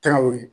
Tɛw ye